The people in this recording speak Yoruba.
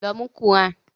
Lọ mú qùránì!